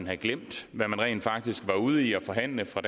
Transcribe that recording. have glemt hvad man rent faktisk var ude i at forhandle for